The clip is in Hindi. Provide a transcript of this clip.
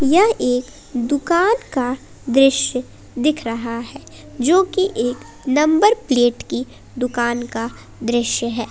यह एक दुकान का दृश्य दिख रहा है जो कि एक नंबर प्लेट की दुकान का दृश्य है।